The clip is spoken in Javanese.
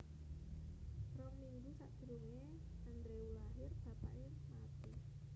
Rong minggu sakdurunge Andrew lair bapake mati